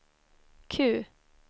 Q